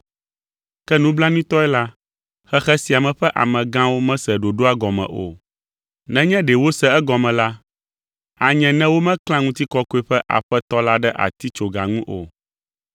Ke nublanuitɔe la, xexe sia me ƒe amegãwo mese ɖoɖoa gɔme o. Nenye ɖe wose egɔme la, anye ne womeklã Ŋutikɔkɔe ƒe Aƒetɔ la ɖe atitsoga ŋu o.